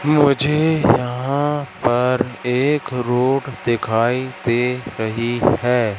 मुझे यहां पर एक रोड दिखाई दे रही है।